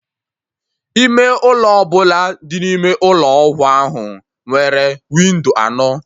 Ime ụlọ ọbụla dị n'Ụlọ ọgwụ ahụ nwere windo anọ